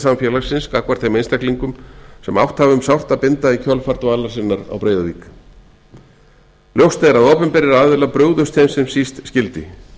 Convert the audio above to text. samfélagsins gagnvart þeim einstaklingum sem átt hafa um sárt að binda í kjölfar dvalar sinnar á breiðavík ljóst er að opinberir aðilar brugðust þeim sem síst skyldi